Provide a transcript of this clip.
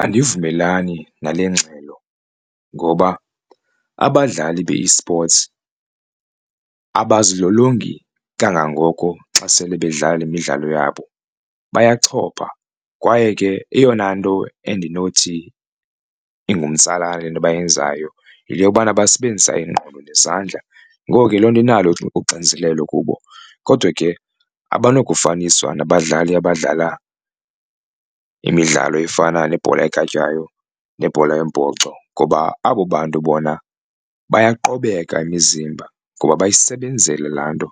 Andivumelani nale ngxelo ngoba abadlali be-esports abazilolongi kangangoko xa sele bedlala imidlalo yabo bayachopha kwaye ke eyona nto endinothi ingumtsalane kule nto bayenzayo yinto yokubana basebenzisa ingqondo nezandla. Ngoko ke loo nto inalo uxinzelelo kubo kodwa ke abanakufaniswa nabadlali abadlala imidlalo efana nebhola ekhatywayo nebhola yombhoxo ngoba abo bantu bona bayaqobeka imizimba ngoba bayisebenzele la nto